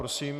Prosím.